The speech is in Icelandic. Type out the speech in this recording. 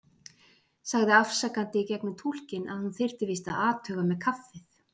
Sagði afsakandi í gegnum túlkinn að hún þyrfti víst að athuga með kaffið.